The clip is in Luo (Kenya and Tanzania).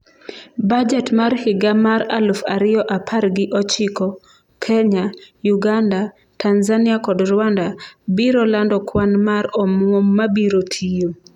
Bajet mar higa mar aluf ariyo apar gi ochiko: Kenya, Uganda, Tanzania kod Rwanda biro lando kwan mar omwom mabiro tiyo